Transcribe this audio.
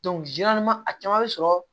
a caman bɛ sɔrɔ